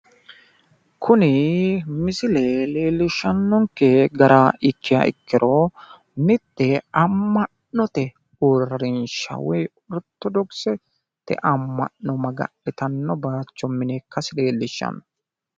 Kuni misile leellishshannonke gara ikkiha ikkiro mitte amma'note uurrinsha woy orittodokisete amma'no magannitanno baayicho mine ikkasi leellishshanno.